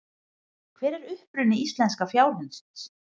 Hver er uppruni íslenska fjárhundsins?